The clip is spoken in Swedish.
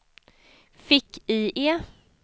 fick-IE